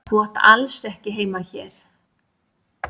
Þú átt alls ekki heima hér.